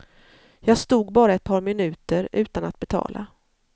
Jag stod bara ett par minuter, utan att betala.